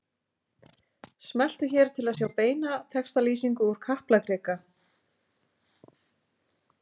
Smelltu hér til að sjá beina textalýsingu úr Kaplakrika